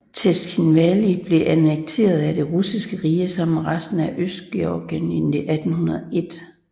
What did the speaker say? Tskhinvali blev annekteret af Det russiske rige sammen med resten af Østgeorgien i 1801